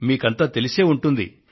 మీకంతా తెలిసే ఉంటుంది